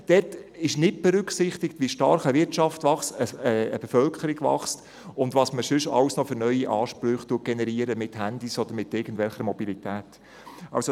Es wird nicht berücksichtigt, wie stark eine Wirtschaft oder die Bevölkerung wächst und welche neuen Ansprüche sonst noch mit Handys oder mit Mobilität und so weiter generiert werden.